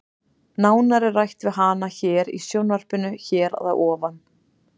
Nánar er rætt við hana hér í sjónvarpinu hér að ofan.